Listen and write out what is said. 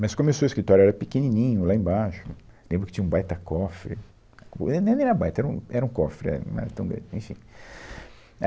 Mas começou o escritório, era pequenininho, lá embaixo, lembro que tinha um baita cofre, ah, nem nem era baita, era um era um cofre, era, não era tão grande, enfim.